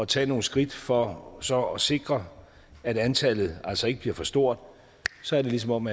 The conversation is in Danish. tage nogle skridt for så at sikre at antallet altså ikke bliver for stort så er det ligesom om